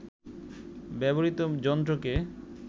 ব্যবহৃত যন্ত্রকে